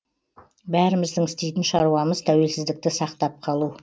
бәріміздің істейтін шаруамыз тәуелсіздікті сақтап қалу